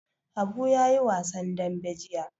Habu ya yi wasan dambe jiya.